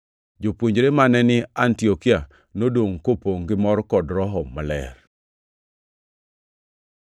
Jopuonjre mane ni Antiokia nodongʼ kopongʼ gi mor kod Roho Maler.